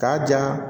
K'a ja